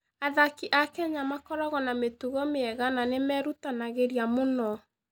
Athaki a Kenya makoragwo na mĩtugo mĩega na nĩ merutanagĩria mũno.